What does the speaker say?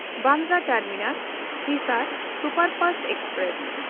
Bandra ᱴᱟᱨᱢᱤᱱᱟᱥ–ᱦᱤᱥᱟᱨ superfast express